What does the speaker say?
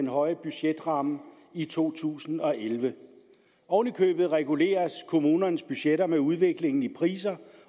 høje budgetramme i to tusind og elleve oven i købet reguleres kommunernes budgetter med udviklingen i priser